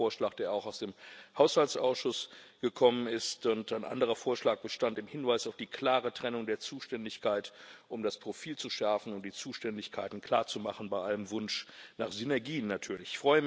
Es war ein Vorschlag, der auch aus dem Haushaltsausschuss gekommen ist. Ein anderer Vorschlag bestand im Hinweis auf die klare Trennung der Zuständigkeit, um das Profil zu schärfen, um die Zuständigkeiten klar zu machen, bei allem Wunsch nach Synergien natürlich.